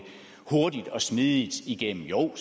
hurtigt og smidigt igennem jo